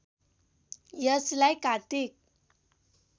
यसलाई कात्तिक